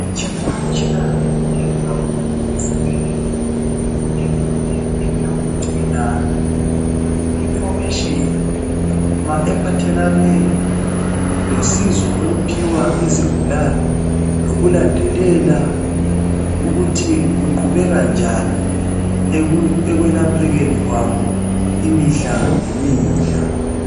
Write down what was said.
Imitshina tshina eminengi kakhulu ezibhedlela. Eminye ingeyokugcina i- information ephathelane losizo oluphiwa izigulane lokulandelela ukuthi kuqubeka njani ekwelaphekeni kwabo imihla ngemihla.